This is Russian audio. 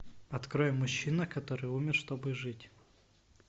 открой мужчина который умер чтобы жить